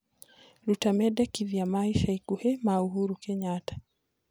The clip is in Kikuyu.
Rũta mendekithia ma ĩca ĩkũhĩ ma uhuru kenyatta